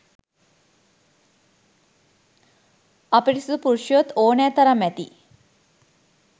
අපිරිසිදු පුරුෂයෝත් ඕනෑ තරම් ඇති